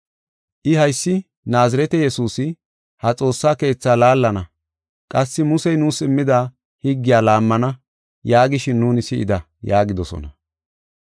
I, ‘Haysi Naazirete Yesuusi, ha xoossa keetha laallana; qassi Musey nuus immida higgiya laammana’ yaagishin nuuni si7ida” yaagidosona.